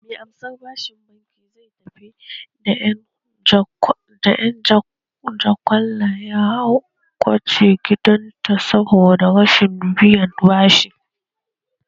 Mai amsar bashin bankin wema zai tafi da ƴan jakwalla ya kwace gidanta saboda rashin biyan bashi